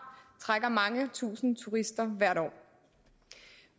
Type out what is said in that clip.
trækker mange tusind turister hvert år